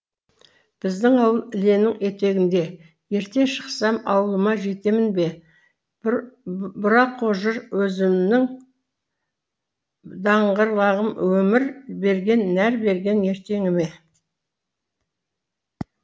біздің ауыл іленің етегінде ерте шықсам ауылыма жетемін бе бұрақожыр өзінім даңғырлағым өмір берген нәр берген ертеңіме